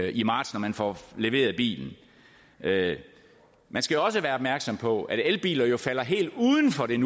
i marts når man får leveret bilen man skal også være opmærksom på at elbiler jo falder helt uden for den